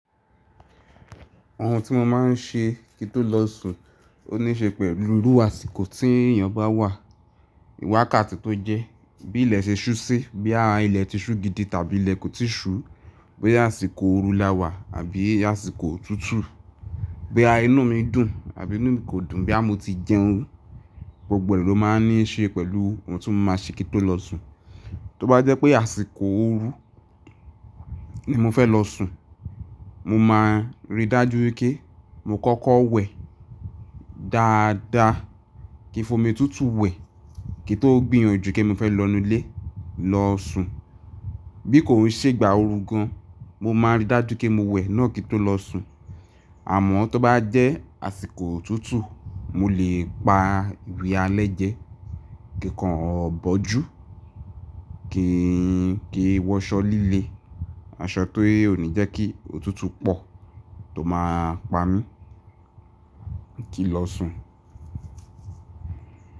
Ohun tí mo máa ń ṣe kí tó lọ sùn ó níí ṣe pẹ̀lú iru àsìkò tí èèyàn bá wà, wákàtí tó jẹ́, bí ilẹ̀ ṣe ṣú sí, bóyá ilẹ̀ ti ṣú gidi tàbí ilẹ̀ kò ti ṣú, bóyá àsìkò ooru láwà àbí àsìkò òtútù, bóyá inú mi dùn àbí inú mi kò dùn, bóyá mo ti jẹun. Gbogbo è ló máa ń ní ṣe pẹ̀lú ohun tí mo máa ṣe kí tó lọ sùn. Tó bá jẹ́ pé àṣìkò ooru ni mo fẹ́ lọ sùn, mo máa rí dájú wípé mo kọ́kọ́ wẹ̀ dáadáa, kí fomi tútù wẹ̀ kí n tó gbìyànjú pé mo fẹ́ lọ nu ilé lọ sùn. Bí kò n ṣé gbà ooru gan, mo máa rí dájú pé mo wẹ̀ náà kí n tó lọ sùn. Àmọ́ tó bá jẹ́ àsìkò òtútù, mo lè pa ìwẹ̀ alẹ́ jẹ kí kàn bọ̀jù, kí í wọṣọ́ líle, aṣọ tó ò ní jẹ́ kí òtútù pọ̀ tó máa pa mí kí n lọ sùn.